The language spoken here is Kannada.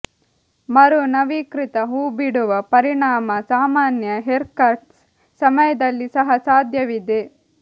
ಮರು ನವೀಕೃತ ಹೂಬಿಡುವ ಪರಿಣಾಮ ಸಾಮಾನ್ಯ ಹೇರ್ಕಟ್ಸ್ ಸಮಯದಲ್ಲಿ ಸಹ ಸಾಧ್ಯವಿದೆ